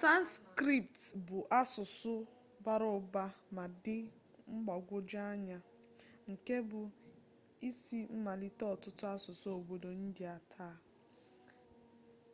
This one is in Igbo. sanskrit bụ asụsụ bara ụba ma dị mgbagwoju anya nke bụ isi mmalite ọtụtụ asụsụ obodo india taa